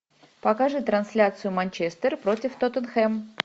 покажи трансляцию манчестер против тоттенхэм